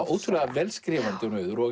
ótrúlega vel skrifandi hún Auður og